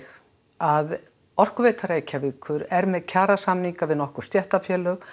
að Orkuveita Reykjavíkur er með kjarasamninga við nokkur stéttarfélög